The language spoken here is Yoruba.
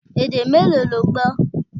Èdè mélòó lo gbọ́?